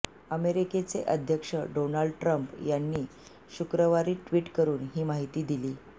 अमेरिकेचे अध्यक्ष Donald Trump यांनी शुक्रवारी ट्विट करून ही माहिती दिली